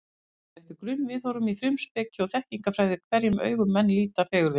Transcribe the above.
Það fer eftir grunnviðhorfum í frumspeki og þekkingarfræði, hverjum augum menn líta fegurðina.